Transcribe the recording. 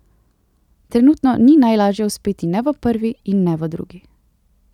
Trenutno ni najlažje uspeti ne v prvi in ne v drugi.